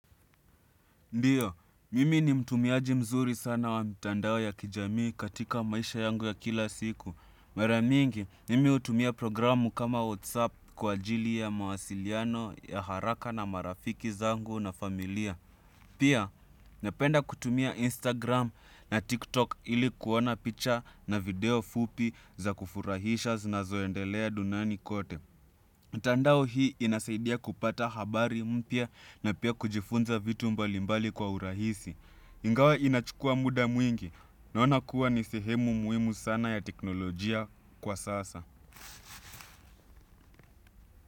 Ndiyo, mimi ni mtumiaji mzuri sana wa mtandao ya kijamii katika maisha yangu ya kila siku. Maramingi, mimi hutumia programu kama WhatsApp kwa ajili ya mawasiliano ya haraka na marafiki zangu na familia. Pia, napenda kutumia Instagram na TikTok ili kuona picture na video fupi za kufurahisha zinazoendelea duniani kote. Mtandao hii inasaidia kupata habari mpya na pia kujifunza vitu mbalimbali kwa urahisi. Ingawa inachukua muda mwingi naona kuwa ni sehemu muhimu sana ya teknolojia kwa sasa.